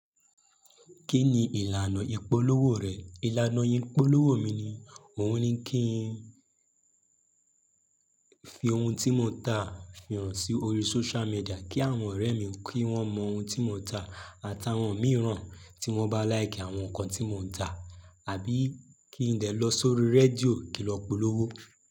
Kí ni ìlànà ìpolówó rẹ̀? Ìlànà ìpolówó mi ni, oun ní kí n fi ohun tí mo ń tà fi hàn sí orí social media kí àwọn ọ̀rẹ́ mi kí wọ́n mọ ohun tí mo ń tà, àtàwọn mìíràn tí wọ́n bá láìkì àwọn nǹkan tí mo ń tà àbí kí n dè lọ sórí rédíò kí n lọ polówó.